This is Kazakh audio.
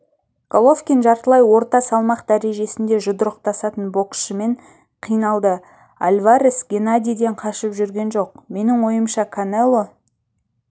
головкин жартылай орта салмақ дәрежесінде жұдырықтасатын боксшымен қиналды альварес геннадийден қашып жүрген жоқ менің ойымша канело